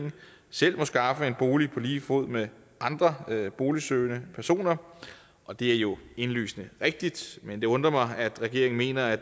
selv må skaffe sig en bolig på lige fod med andre boligsøgende personer og det er jo indlysende rigtigt men det undrer mig at regeringen mener at